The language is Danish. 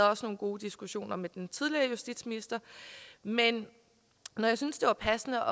haft nogle gode diskussioner med den tidligere justitsminister men når jeg synes det var passende